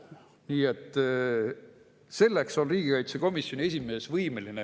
Nii et selleks on riigikaitsekomisjoni esimees võimeline.